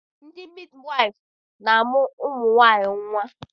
Ndị midiwaịfụ na-amụ ụmụ nwaanyị nnwa.